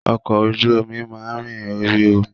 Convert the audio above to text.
Ọkọ̀ ojú omi máa ń rìn orí omi